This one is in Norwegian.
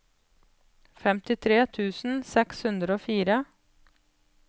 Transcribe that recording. femtitre tusen seks hundre og fire